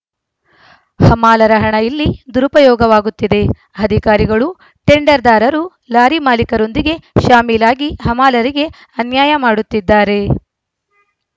ಹಮಾಲರ ಹಣ ಇಲ್ಲಿ ದುರುಪಯೋಗವಾಗುತ್ತಿದೆ ಅಧಿಕಾರಿಗಳು ಟೆಂಡರ್‌ದಾರರು ಲಾರಿ ಮಾಲೀಕರೊಂದಿಗೆ ಶಾಮೀಲಾಗಿ ಹಮಾಲರಿಗೆ ಅನ್ಯಾಯ ಮಾಡುತ್ತಿದ್ದಾರೆ